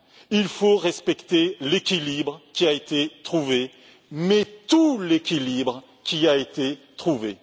Il faut respecter l'équilibre qui a été trouvé, mais tout l'équilibre qui a été trouvé.